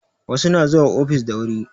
Wasu na zuwa ofis da wuri